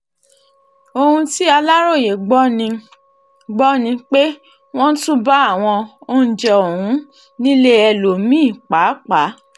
ohun tí aláròye gbọ́ ni gbọ́ ni pé wọ́n tún bá àwọn oúnjẹ ọ̀hún nílé ẹlòmí-ín pàápàá